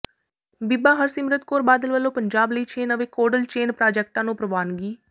ਬੀਬਾ ਹਰਸਿਮਰਤ ਕੌਰ ਬਾਦਲ ਵੱਲੋਂ ਪੰਜਾਬ ਲਈ ਛੇ ਨਵੇਂ ਕੋਲਡ ਚੇਨ ਪ੍ਰਾਜੈਕਟਾਂ ਨੂੰ ਪ੍ਰਵਾਨਗੀ